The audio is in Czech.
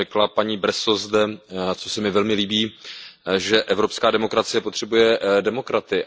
Paní Bresso zde řekla, co se mi velmi líbí, že evropská demokracie potřebuje demokraty.